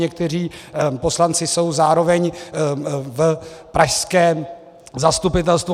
Někteří poslanci jsou zároveň v pražském zastupitelstvu.